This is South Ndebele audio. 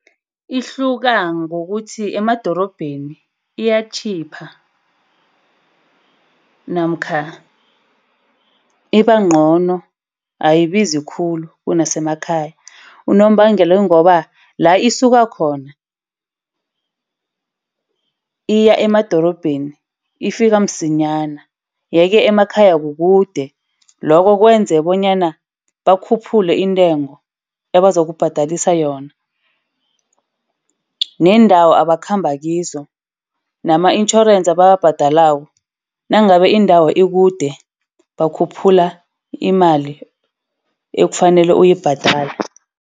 Ihluka ngokuthi emadorobheni iyatjhipha namkha ibangcono ayibizi khulu kunasemakhaya. Unobangela yingoba la isuka khona, iya emadorobheni ifika msinyana. Yeke emakhaya kukude. Lokho kwenza bonyana bakhuphule iintengo abazokubhadelisa yona. Neendawo abakhamba kizo, nama-intjhorensi ebawabhadelako nangabe indawo ikude bakhuphula imali ekufanele uyibhadale.